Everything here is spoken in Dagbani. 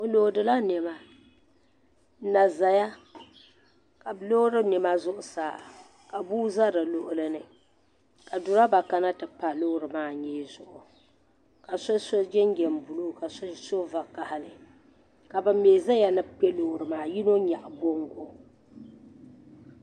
Bɛ loodi la niɛma n na zaya ka bɛ loodiri niɛma zuɣusaa ka bua za di luɣuli ni ka duroba kana n ti pa loori maa nyee zuɣu ka so so jinjiɛm buluu ka so so vakahali ka ban mee zaya ni bɛ kpɛ loori maa yino nyaɣi bongo.